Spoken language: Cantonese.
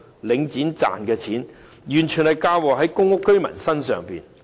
領展賺的錢完全出自公屋居民身上。